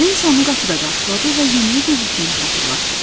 Nenso onu qapıda qarşıladı və yeməyə gecikdiyini xatırlatdı.